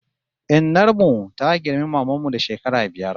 Innar mu ta girmi maman mu da shekara biyar